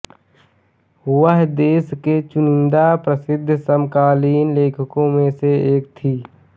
वह देश के चुनिंदा प्रसिद्ध समकालीन लेखकों में से एक थीं